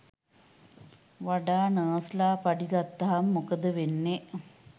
වඩා නර්සලා පඩි ගත්තම මොකද වෙන්නේ